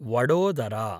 Vadodara